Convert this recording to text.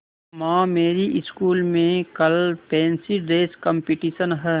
माँ मेरी स्कूल में कल फैंसी ड्रेस कॉम्पिटिशन है